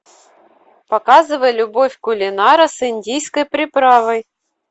показывай любовь кулинара с индийской приправой